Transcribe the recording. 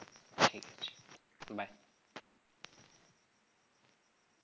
ঠিক আছে bye.